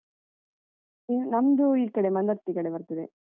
ಹ್ಮ್ ನಮ್ದು ಈ ಕಡೆ ಮಂದಾರ್ತಿ ಕಡೆ ಬರ್ತದೆ.